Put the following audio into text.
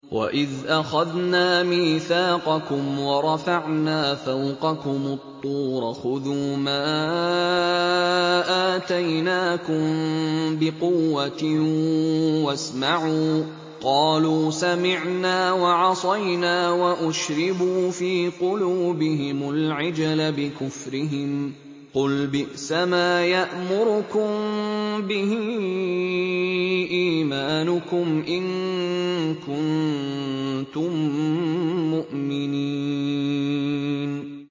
وَإِذْ أَخَذْنَا مِيثَاقَكُمْ وَرَفَعْنَا فَوْقَكُمُ الطُّورَ خُذُوا مَا آتَيْنَاكُم بِقُوَّةٍ وَاسْمَعُوا ۖ قَالُوا سَمِعْنَا وَعَصَيْنَا وَأُشْرِبُوا فِي قُلُوبِهِمُ الْعِجْلَ بِكُفْرِهِمْ ۚ قُلْ بِئْسَمَا يَأْمُرُكُم بِهِ إِيمَانُكُمْ إِن كُنتُم مُّؤْمِنِينَ